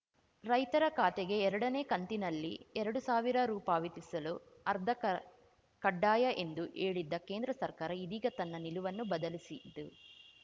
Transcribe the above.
ರೈತರ ಖಾತೆಗೆ ಎರಡನೇ ಕಂತಿನಲ್ಲಿ ಎರಡು ಸಾವಿರ ರು ಪಾವತಿಸಲು ಆರ್ಧಾ ಕಡ್ಡಾಯ ಎಂದು ಹೇಳಿದ್ದ ಕೇಂದ್ರ ಸರ್ಕಾರ ಇದೀಗ ತನ್ನ ನಿಲುವನ್ನು ಬದಲಿಸಿದ್ದು